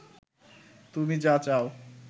তুমি যা চাও